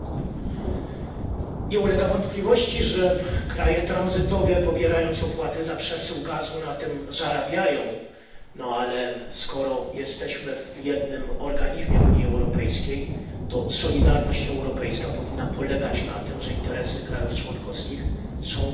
Nie ulega wątpliwości, że kraje tranzytowe, pobierając opłaty za przesył gazu, na tym zarabiają, ale skoro jesteśmy w jednym organizmie Unii Europejskiej, to solidarność europejska powinna polegać na tym, że interesy krajów członkowskich są brane pod uwagę przede wszystkim.